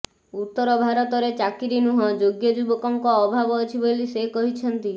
ଉତ୍ତର ଭାରତରେ ଚାକିରି ନୁହଁ ଯୋଗ୍ୟ ଯୁବକଙ୍କର ଅଭାବ ଅଛି ବୋଲି ସେ କହିଛନ୍ତି